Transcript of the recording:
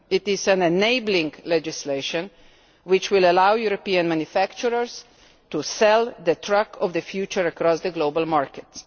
It is enabling legislation which will allow European manufacturers to sell the truck of the future across the global markets.